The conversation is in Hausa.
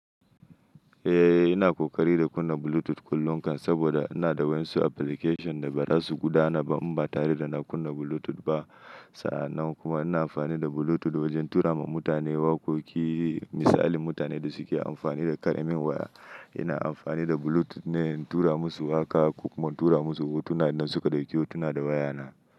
Eh, ina ƙoƙari da kunna Bluetooth kullum kan saboda ina da wa'insu application da bara su gudana ba in ba tare da na kunna Bluetooth ba. Sa'an nan kuma ina amfani da Bluetooth wajen tura ma mutane waƙoƙi, misali mutanen da suke amfani da karamin waya, ina amfani da Bluetooth ne in tura musu waƙa ko kuma in tura musu hotuna idan suka ɗauki hotuna da wayana.